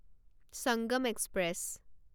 Sangam express